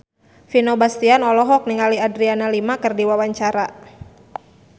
Vino Bastian olohok ningali Adriana Lima keur diwawancara